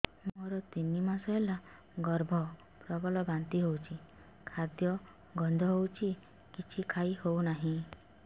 ମୋର ତିନି ମାସ ହେଲା ଗର୍ଭ ପ୍ରବଳ ବାନ୍ତି ହଉଚି ଖାଦ୍ୟ ଗନ୍ଧ ହଉଚି କିଛି ଖାଇ ହଉନାହିଁ